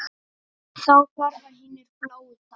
Þá hverfa hinir bláu dalir.